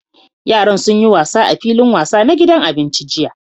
Yaran sun yi wasa a filin wasa na gidan abinci jiya.